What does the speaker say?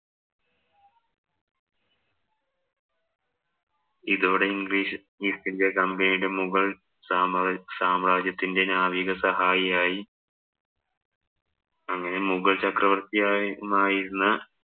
ഇതോടെ English East India Company യുടെ മുഗള്‍ സാമ്രാജ്യത്തിന്‍റെ നാവിക സഹായിയായി അങ്ങനെ മുഗള്‍ചക്രവര്‍ത്തിയായിരുന്ന